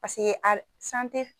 Paseke